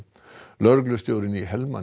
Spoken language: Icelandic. lögreglustjórinn í